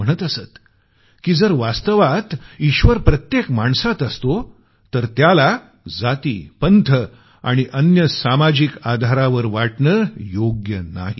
ते म्हणत असत की जर वास्तवात ईश्वर प्रत्येक माणसात असतो तर त्याला जाती पंथ आणि अन्य सामाजिक आधारावर वाटणं योग्य नाही